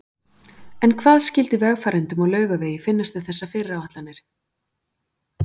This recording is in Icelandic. En hvað skyldi vegfarendum á Laugavegi finnast um þessar fyrirætlanir?